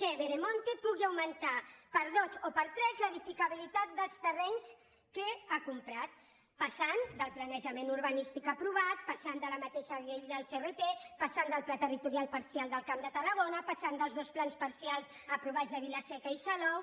que veremonte pugui augmentar per dos o per tres l’edificabilitat dels terrenys que ha comprat passant del planejament urbanístic aprovat passant de la mateixa llei del crt passant del pla territorial parcial del camp de tarragona passant dels dos plans parcials aprovats a vila seca i salou